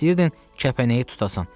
İstəyirdin kəpənəyi tutasan.